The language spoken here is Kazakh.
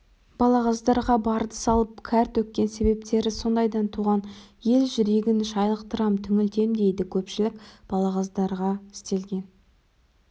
балағаздарға барды салып кәр төккен себептері сондайдан туған ел жүрегін шайлықтырам түңілтем дейді көпшілік балағаздарға істелген